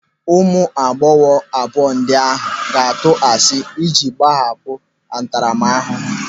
Ụmụ agbọghọ abụọ ndị ahụ ga-atụ asị ịji gbanahụ ntaramahụhụ.